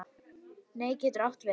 Net getur átt við